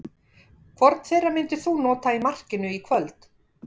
Hvorn þeirra myndir þú nota í markinu í kvöld?